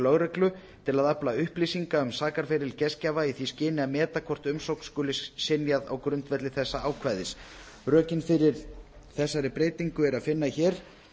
lögreglu til að afla upplýsinga um sakaferil gestgjafa í því skyni að meta hvort umsókn skuli synjað á grundvelli þessa ákvæðis rökin fyrir þessari breytingu er að finna hér